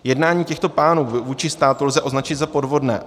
Jednání těchto pánů vůči státu lze označit za podvodné.